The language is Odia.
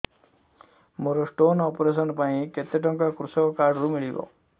ମୋର ସ୍ଟୋନ୍ ଅପେରସନ ପାଇଁ କେତେ ଟଙ୍କା କୃଷକ କାର୍ଡ ରୁ ମିଳିବ